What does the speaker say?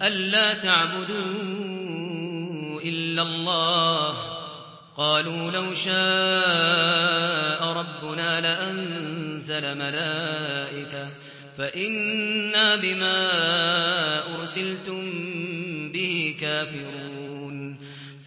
أَلَّا تَعْبُدُوا إِلَّا اللَّهَ ۖ قَالُوا لَوْ شَاءَ رَبُّنَا لَأَنزَلَ مَلَائِكَةً فَإِنَّا بِمَا أُرْسِلْتُم بِهِ كَافِرُونَ